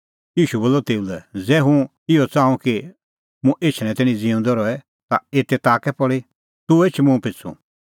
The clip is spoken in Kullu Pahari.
ईशू बोलअ तेऊ लै ज़ै हुंह इहअ च़ाहूं कि मुंह एछणैं तैणीं ज़िऊंदअ रहे एते ताह कै पल़ी तूह एछ मुंह पिछ़ू